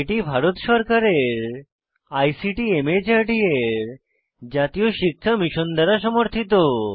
এটি ভারত সরকারের ICT MHRD এর জাতীয় শিক্ষা মিশন দ্বারা সমর্থিত